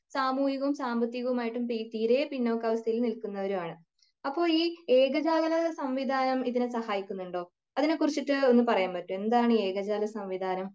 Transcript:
സാമൂഹികവും സാമ്പത്തികവും ആയിട്ടും തീരെ പിന്നോക്ക അവസ്ഥകളിൽ നില്കുന്നതുമാണ് അപ്പൊ ഈ ഏകജാലക സംവിധാനം ഇതിനെ സഹായിക്കുന്നുണ്ടോ അതിനെകുറിച്ചിട്ട് ഒന്ന് പറയാൻ പറ്റോ എന്താണ് ഏകജാലക സംവിധാനം